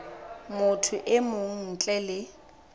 motho e mong ntle le